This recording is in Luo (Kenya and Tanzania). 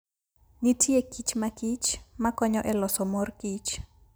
Nitie kich mag kich makonyo e loso mor kich.